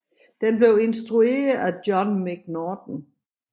Den blev instrueret af John McNaughton